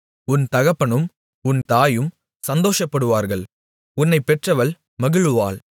உன் தகப்பனும் உன் தாயும் சந்தோஷப்படுவார்கள் உன்னைப் பெற்றவள் மகிழுவாள்